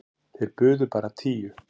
Þeir buðu bara tíu.